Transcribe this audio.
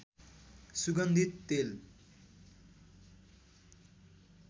सुगन्धित तेल